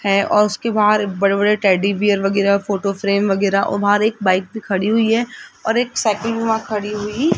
है और उसके बाहर बड़े-बड़े टेडी बियर वगैराह फोटो फ्रेम वगैराह और बाहर एक बाइक भी खड़ी हुई है और एक साइकल वहा खड़ी हुई --